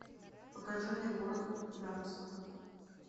покажи мне город гангстеров